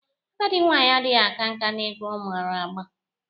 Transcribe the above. Agadị nwaanyị adịghị aka nka n'egwu ọ mara agba.